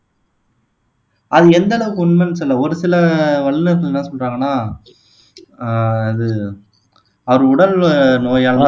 அது எந்த அளவுக்கு உண்மைன்னு சொல்ல ஒரு சில வல்லுனர்கள் என்ன சொல்றாங்கன்னா ஆஹ் அது அவர் உடல் நோயால தான்